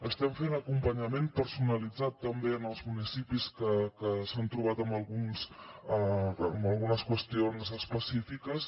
estem fent acompanyament personalitzat també en els municipis que s’han trobat amb algunes qüestions específiques